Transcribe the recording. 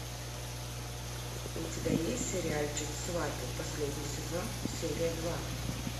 у тебя есть сериальчик сваты последний сезон серия два